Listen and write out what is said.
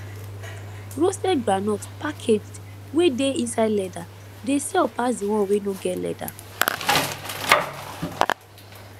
roasted groundnut packaged wey dey inside leather dey sell pass the one wey no get leather